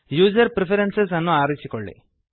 user preferences ಅನ್ನು ಆರಿಸಿಕೊಳ್ಳಿ